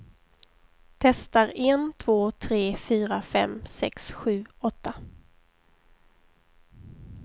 Testar en två tre fyra fem sex sju åtta.